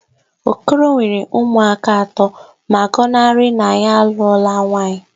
Okoro nwere ụmụaka atọ ma gọnarị na ya alụọla nwaanyị